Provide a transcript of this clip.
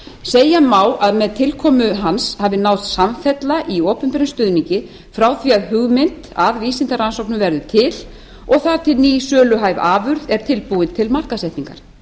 segja má að með tilkomu hans hafi náðst samfella í opinberum stuðningi frá því að hugmynd að vísindarannsóknum verður til og þar til ný söluhæf afurð er tilbúin til markaðssetningar